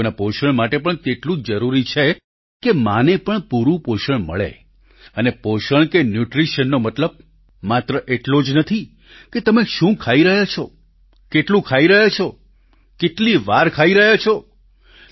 બાળકોના પોષણ માટે પણ તેટલું જ જરૂરી છે કે માં ને પણ પૂરું પોષણ મળે અને પોષણ કે ન્યૂટ્રિશનનો મતલબ માત્ર એટલો જ નથી કે તમે શું ખાઈ રહ્યા છો કેટલું ખાઈ રહ્યા છો કેટલીવાર ખાઇ રહ્યા છો